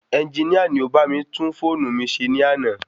Ẹnginíà ni o bá mi tún fóònu mi se ní àná